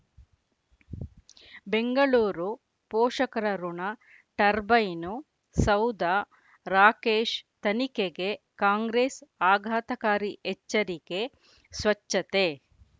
ಬೆಂಗಳೂರು ಪೋಷಕರಋಣ ಟರ್ಬೈನು ಸೌಧ ರಾಕೇಶ್ ತನಿಖೆಗೆ ಕಾಂಗ್ರೆಸ್ ಆಘಾತಕಾರಿ ಎಚ್ಚರಿಕೆ ಸ್ವಚ್ಛತೆ